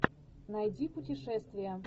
найди путешествия